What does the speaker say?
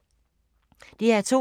DR2